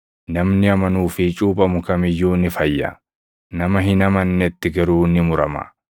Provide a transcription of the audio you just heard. Namni amanuu fi cuuphamu kam iyyuu ni fayya; nama hin amannetti garuu ni murama.